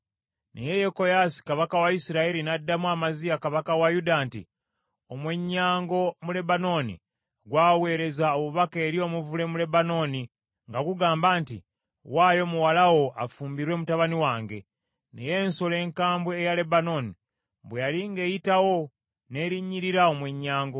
Naye Yekoyaasi kabaka wa Isirayiri n’addamu Amaziya kabaka wa Yuda nti, “Omwennyango mu Lebanooni gw’aweereza obubaka eri omuvule mu Lebanooni nga gugamba nti, ‘Waayo muwala wo afumbirwe mutabani wange.’ Naye ensolo enkambwe eya Lebanooni bwe yali ng’eyitawo n’erinnyirira omwennyango.